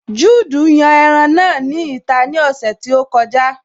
Juudu yan ẹran náà ní ìta ní ọ̀sẹ̀ tí ó kọjá